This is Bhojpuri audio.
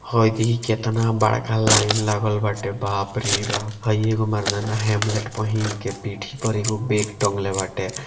हई देखि कतना बड़का लाइन लागल बाटे बाप रे बाप हई एगो मर्दाना हेमलेट पहिन के पीठी पर एगो बैग टांगले बाटे।